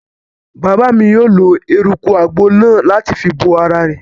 Bàbá mi yóò lo eruku àgbo náà láti fi bo ara rẹ̀